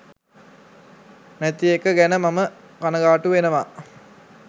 නැති එක ගැන මම කනගාටු වෙනවා.